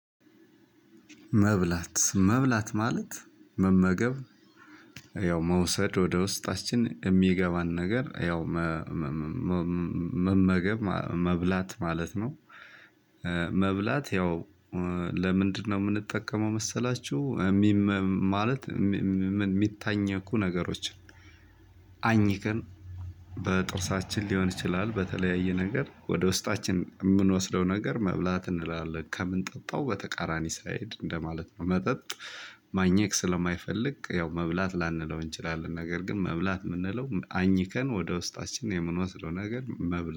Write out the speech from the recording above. መብላት መብላት ማለት መመገብ ያው መውሰድ ወደ ውስጣችን የሚገባን ነገር ያው መመገብ መብላት ማለት ነው። መብላት ያው ለምንድነው ምንጠቀመው መሰላቹ? ማለት ሚታኘኩ ነገሮችን አኚከን በጥርሳችን ሊሆን ይችላል። በተለያየ ነገር ወደ ውስጣችን የምንወስደው ነገር መብላት እንላለን ከምንጠጣው በተቃራኒ ሳይድ እንደማለት ነው። መጠጥ ማኘክ ስለማይፈልግ ያው መብላት ላንለው እንችላለን። ነገር ግን መብላት የምንለው አኝከን ወደ ውስጣችን የምንወስደው ነገር መብላት